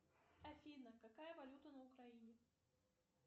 афина какая валюта на украине